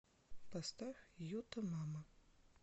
поставь юта мама